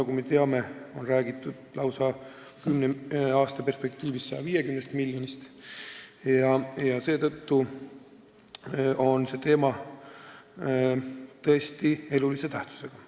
Kümne aasta perspektiivis on räägitud lausa 150 miljonist, seega on teema tõesti elulise tähtsusega.